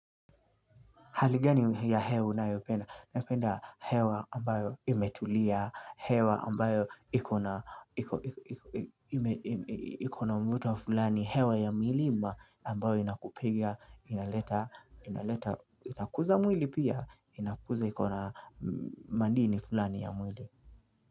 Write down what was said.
Hali gani ya hewa unayopenda, napenda hewa ambayo imetulia, hewa ambayo ikona mvuto wa fulani, hewa ya milima ambayo inakuga inaleta inakuza mwili pia, inakuza ikona mandini fulani ya mwili.